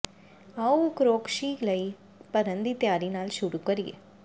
ਆਓ ਓਕਰੋਸ਼ਕੀ ਲਈ ਭਰਨ ਦੀ ਤਿਆਰੀ ਨਾਲ ਸ਼ੁਰੂ ਕਰੀਏ